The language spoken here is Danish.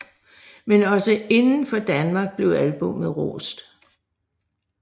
Men også udenfor Danmark blev albummet rost